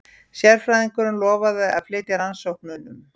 Sérfræðingurinn lofaði að flýta rannsóknunum.